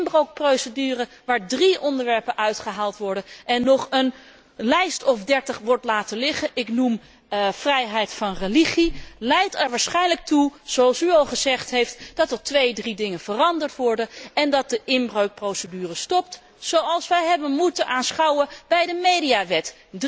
Een inbreukprocedure waar drie onderwerpen uitgehaald worden en nog een dertigtal onderwerpen blijven liggen ik noem vrijheid van godsdienst leidt er waarschijnlijk toe, zoals u al gezegd heeft, dat er twee à drie dingen veranderd worden en dat de inbreukprocedure stopt, zoals wij hebben moeten aanschouwen bij de mediawet.